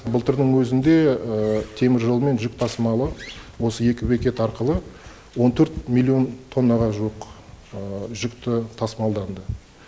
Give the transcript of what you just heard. былтырдың өзінде теміржолмен жүк тасымалы осы екі бекет арқылы он төрт миллион тоннаға жуық жүкті тасымалданды